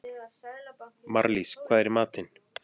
Marlís, hvað er í matinn?